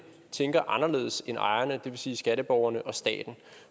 tænker anderledes end ejerne det vil sige skatteborgerne og staten